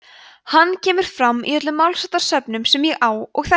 hann kemur fram í öllum málsháttasöfnum sem ég á og þekki